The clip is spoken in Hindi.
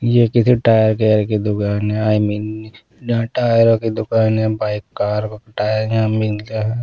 ये किसी टायर केयर की दुकान है आई मीन जहाँ टायरों की दुकान है बाइक कार टायर यहाँ मिलता है।